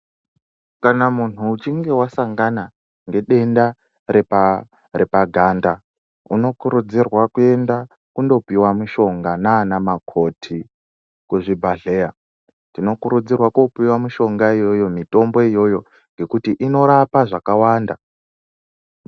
Kana muntu uchinge wasangana nedenda repaganda unokurudzirwa kuenda kundopuwa mishonga nan mukoti kuzvibhedhlera unokurudzirwa kupuwa mishonga iyoyo nekuti inorapa zvakawanda.